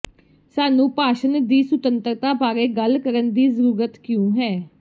ਸਾਨੂੰ ਭਾਸ਼ਣ ਦੀ ਸੁਤੰਤਰਤਾ ਬਾਰੇ ਗੱਲ ਕਰਨ ਦੀ ਜ਼ਰੂਰਤ ਕਿਉਂ ਹੈ